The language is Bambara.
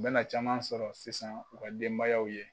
U bɛna caman sɔrɔ sisan u ka denbayaw ye.